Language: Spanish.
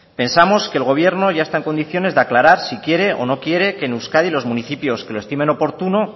pensamos que el gobierno ya está en condiciones de aclarar si quiere o no quiere que en euskadi los municipios que lo estimen oportuno